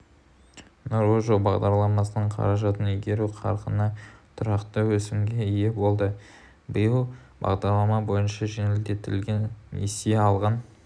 нұрлы жол бағдарламасының қаражатын игеру қарқыны тұрақты өсімге ие болды биыл бағдарлама бойынша жеңілдетілген несие алған